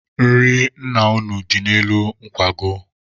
Nri nna unu dị n'elu nkwago.